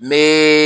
Me